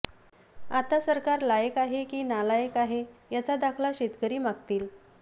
आता सरकार लायक आहे की नालालक आहे याचा दाखला शेतकरी मागतील